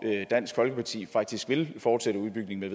dansk folkeparti faktisk vil fortsætte udbygningen